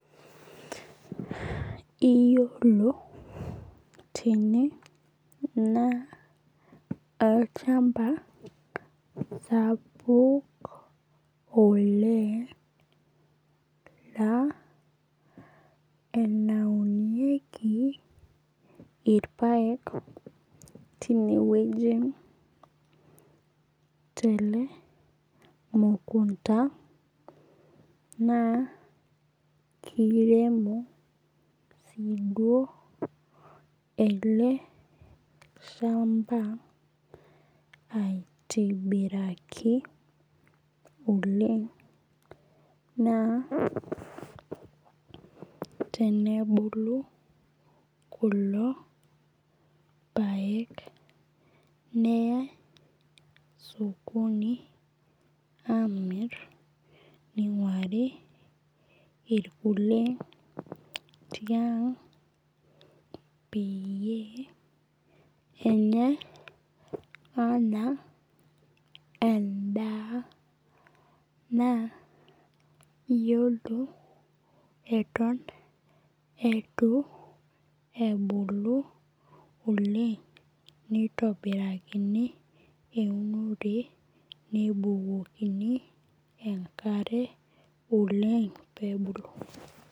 Iyiolo tene naa olchamba sapuk oleng' laa enaunieki irpaek tineweji tele mukunta naa kiremk sii duo ele shamba aitibaraki naa tenebulu kulo paek neyai sokoni amir ning'uari irkulie tiang' peyie enyae anaa edaa naa iyiolo eton eitu ebulu oleng' nitobirakani eunore nebukokini enkare oleng' pebulu.